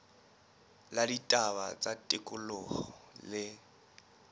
la ditaba tsa tikoloho le